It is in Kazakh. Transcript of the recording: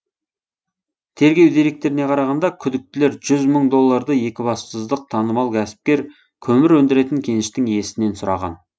тергеу деректеріне қарағанда күдіктілер жүз мың долларды екібастұздық танымал кәсіпкер көмір өндіретін кеніштің иесінен сұраған